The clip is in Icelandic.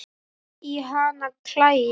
að í hana klæi